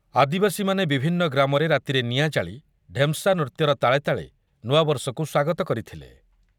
ଆଦିବାସୀମାନେ ବିଭିନ୍ନ ଗ୍ରାମରେ ରାତିରେ ନିଆଁ ଜାଳି ଢେମସା ନୃତ୍ୟର ତାଳେତାଳେ ନୂଆବର୍ଷକୁ ସ୍ୱାଗତ କରିଥିଲେ ।